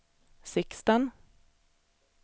Sixten